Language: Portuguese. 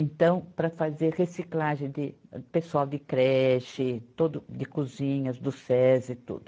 Então, para fazer reciclagem de pessoal de creche, todo, de cozinhas do Sesi e tudo.